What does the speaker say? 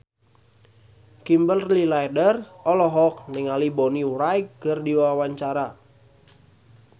Kimberly Ryder olohok ningali Bonnie Wright keur diwawancara